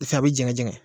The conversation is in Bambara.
Fɛ a bɛ jɛngɛ jɛngɛn